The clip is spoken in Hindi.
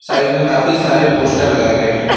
साइड में काफी सारे पोस्टर लगाए गए हैं।